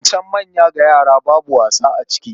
Zancen manya ga yara babu wasa a ciki.